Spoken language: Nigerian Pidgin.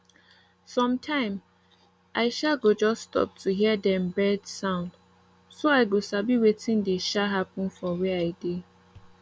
sometime i um go just stop to hear dem bird sound so i go sabi wetin dey um happen for where i dey